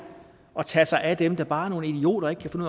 at tage sig af dem der bare er nogle idioter og ikke kan finde